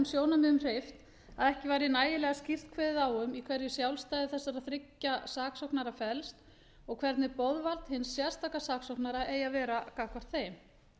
sjónarmiðum hreyft að ekki væri nægilega skýrt kveðið á um í hverju sjálfstæði þessara þriggja saksóknara felst og hvernig boðvald hins sérstaka saksóknara eigi að vera gagnvart þeim